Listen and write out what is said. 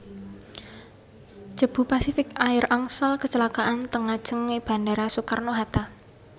Cebu Pacific Air angsal kecelakaan teng ngajeng e bandara Soekarno Hatta